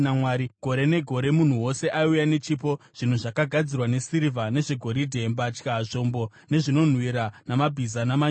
Gore negore munhu wose aiuya nechipo, zvinhu zvakagadzirwa nesirivha nezvegoridhe, mbatya, zvombo nezvinonhuhwira, namabhiza namanyurusi.